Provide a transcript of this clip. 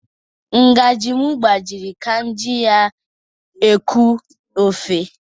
Ngaji m gbajiri ka m ji ya eku ofe.